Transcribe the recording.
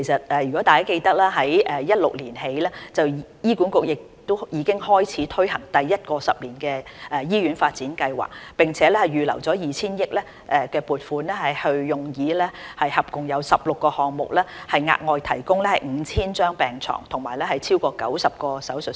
大家記得，自2016年起醫管局已開始推行第一個十年醫院發展計劃，並預留 2,000 億元撥款，用以進行合共16個項目，以額外提供逾 5,000 張病床和超過90個手術室。